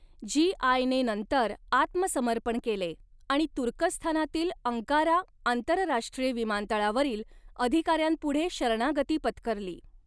जी.आय.ने नंतर आत्मसमर्पण केले आणि तुर्कस्थानातील अंकारा आंतरराष्ट्रीय विमानतळावरील अधिकाऱ्यांपुढे शरणागती पत्करली.